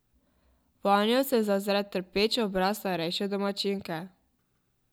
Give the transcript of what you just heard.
Vanjo se zazre trpeč obraz starejše domačinke.